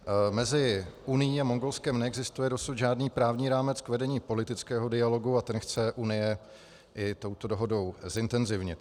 Mezi Unií a Mongolskem neexistuje dosud žádný právní rámec k vedení politického dialogu a ten chce Unie i touto dohodou zintenzivnit.